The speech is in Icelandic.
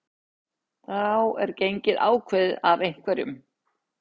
þá er gengið ákveðið af einhverjum